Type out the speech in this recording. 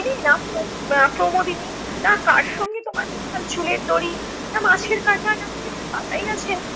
না আহ প্রমোদিনী না কার সঙ্গে তোমার বৌঠান চুলের দড়ি না মাছের কাটা না কী একটা পাতাইয়াছেন